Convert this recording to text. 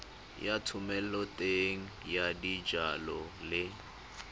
ya thomeloteng ya dijalo le